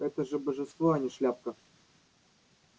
это же божество а не шляпка